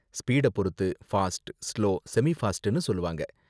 ஸ்பீட பொருத்து fast, slow, semi ஃபாஸ்ட்னு சொல்லுவாங்க.